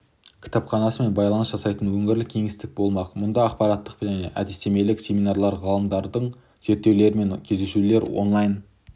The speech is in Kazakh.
кітапханасымен байланыс жасайтын өңірлік кеңістігі болмақ мұнда ақпараттық және әдістемелік семинарлар ғалымдармен зерттеушілермен кездесулер онлайн